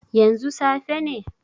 Yanzu safe ne?